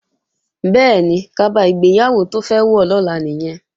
Bẹ́ẹ̀ni, kaba ìgbéyàwó tó fẹ́ wọ̀ lọ́la nìyẹn